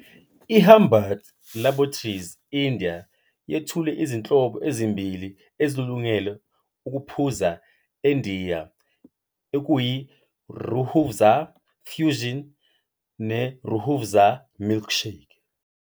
IHamdard Laboratories India yethule izinhlobo ezimbili ezilungele ukuphuza eNdiya okuyiRoohAfza Fusion neRoohAfza Milkshake.